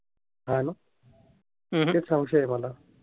संशय आहे मला.